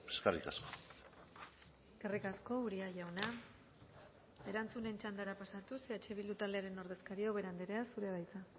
eskerrik asko eskerrik asko uria jauna erantzunen txandara pasatuz eh bildu taldearen ordezkaria ubera andrea zurea da hitza